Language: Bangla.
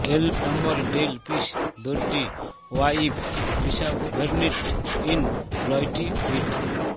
এল নম্বরে ডেল পিস দোড্ডি ওয়াইভ রিসার্ভেনিট ইন লইটিভিড